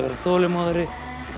þolinmóðari